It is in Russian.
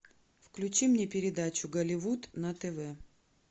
включи мне передачу голливуд на тв